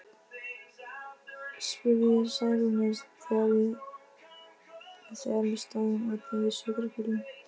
spurði ég Særúnu, þegar við stóðum úti við sjúkrabílinn.